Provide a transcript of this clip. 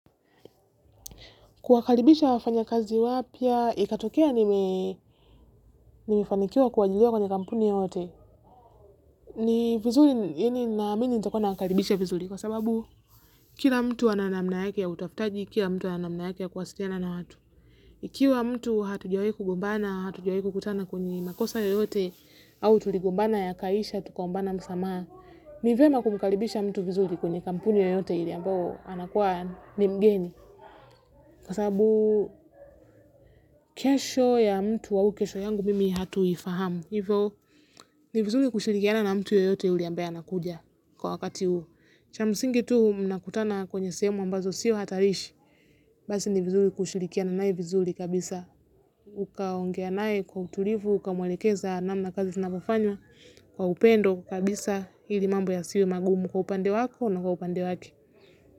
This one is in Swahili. Kuwakaribisha wafanya kazi wapya, ikatokea nimefanikiwa kuajiriwa kwenye kampuni yoyote. Ni vizuri, yaani naamini nitakuwa nawakaribisha vizuri kwa sababu kila mtu ana namna yake ya utafutaji, kila mtu ana namna yake ya kuwasiliana na watu. Ikiwa mtu hatujawahi kugumbana, hatujawahu kukutana kwenye makosa yoyote au tuligombana yakaisha, tukaombana msamaha. Ni vyema kumkaribisha mtu vizuri kwenye kampuni yoyote ile ambayo anakuwa ni mgeni. Kwa sababu kesho ya mtu au kesho yangu mimi hatuifahamu. Hivyo ni vizuri kushirikiana na mtu yoyote yule ambaye anakuja kwa wakati huu. Cha msingi tu mnakutana kwenye sehemu ambazo sio hatarishi. Basi ni vizuri kushirikiana naye vizuri kabisa ukaongea naye kwa utulivu ukamwelekeza namna kazi zinavyofanya kwa upendo kabisa ili mambo yasiwe magumu kwa upande wako na upande wake.